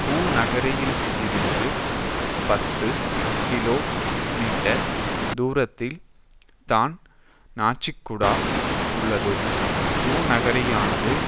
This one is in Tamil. பூநகரியில் இருந்து பத்து கிலோ மீட்டர் தூரத்தில் தான் நாச்சிக்குடா உள்ளது பூநகரியானது